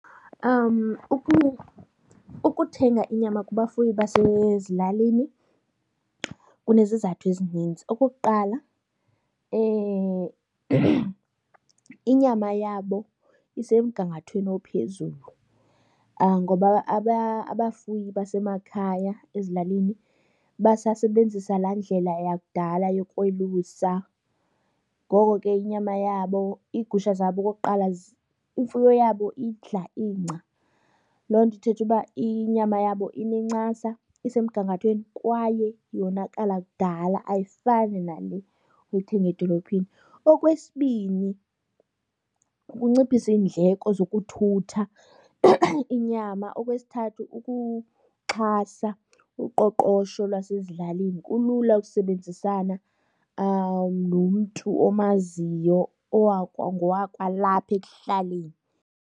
Ukuthenga inyama kubafuyi basezilalini kunezizathu ezininzi. Okokuqala inyama yabo isemgangathweni ophezulu ngoba abafuyi basemakhaya ezilalini basasebenzisa laa ndlela yakudala yokwelusa, ngoko ke inyama yabo, iigusha zabo okokuqala, imfuyo yabo idla ingca. Loo nto ithetha uba inyama yabo inencasa isemgangathweni kwaye yona kuqala kudala, ayifani nale uyithenga edolophini. Okwesibini ukunciphisa iindleko zokuthutha inyama. Okwesithathu kukuxhasa uqoqosho lwasezilalini. Kulula ukusebenzisana nomntu omaziyo owakwangowakwalapha ekuhlaleni